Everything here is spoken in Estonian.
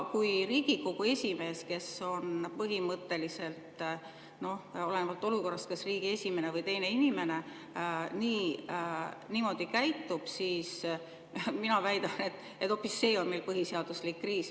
Kui Riigikogu esimees, kes on põhimõtteliselt olenevalt olukorrast kas riigi esimene või teine inimene, niimoodi käitub, siis mina väidan, et hoopis see on meil põhiseaduslik kriis.